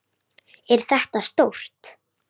Er þetta stórt?